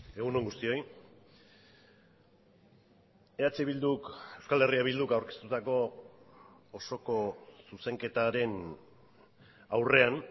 egun on guztioi eh bilduk euskal herria bilduk aurkeztutako osoko zuzenketaren aurrean